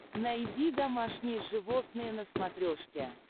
найди домашние животные на смотрешке